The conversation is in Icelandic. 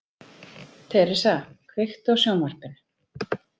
Theresa, kveiktu á sjónvarpinu.